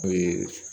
Ee